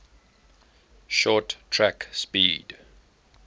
short track speed